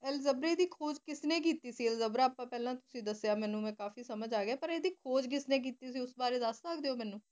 ਅਲਜਬਰੇ ਦੀ ਖੋਜ ਕਿਸਨੇ ਕੀਤੀ ਸੀ ਅਲਜਰਾ ਆਪਾ ਤੁਸੀ ਪਹਿਲਾ ਦੱਸਿਆ ਮੈਨੂੰ ਕਾਫੀ ਸਮਜ ਆਗਿਆ ਪਰ ਇਹਦੀ ਖੋਜ ਕਿਸਨੇ ਕੀਤੀ ਸੀ ਉਸ ਵਾਰੇ ਦਸ ਸਕਦੇ ਹੋ ਮੈਨੂੰ